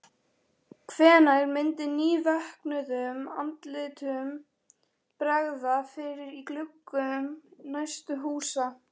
Hvenær myndi nývöknuðum andlitum bregða fyrir í gluggum næstu húsa?